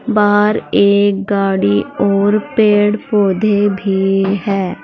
बाहर एक गाड़ी और पेड़ पौधे भी है।